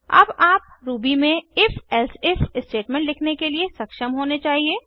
अब आप रूबी में if एलसिफ स्टेटमेंट लिखने के लिए सक्षम होने चाहिए